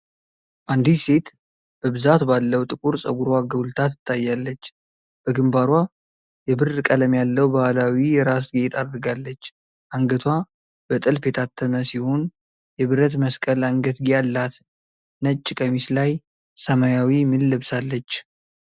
አንዲት ሴት በብዛት ባለው ጥቁር ፀጉሯ ጎልታ ትታያለች። በግንባሯ የብር ቀለም ያለው ባህላዊ የራስ ጌጥ አድርጋለች። አንገቷ በጥልፍ የታተመ ሲሆን የብረት መስቀል አንገትጌ አላት። ነጭ ቀሚስ ላይ ሰማያዊ ምን ለብሳለች?